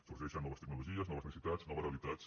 sorgeixen noves tecnologies noves necessitats noves realitats